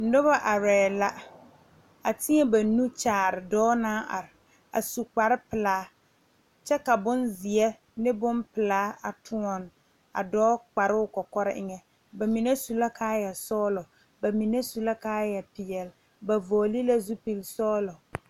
Noba arɛɛ la, a teɛ banuuri kyaare dɔɔ naŋ are, a su kpare pelaa, kyɛ ka bompelaa ne bonzeɛ toɔne o kpare kɔkɔrɛɛ eŋɛ bamine su la kaaya sɔglɔ ka mine su kaaya peɛle a fɔle zupil sɔglɔ